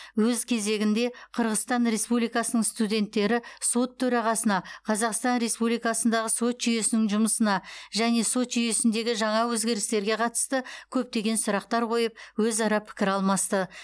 өз кезегінде қырғызстан республикасының студенттері сот төрағасына қазақстан республикасындағы сот жүйесінің жұмысына және сот жүйесіндегі жаңа өзгерістерге қатысты көптеген сұрақтар қойып өзара пікір алмасты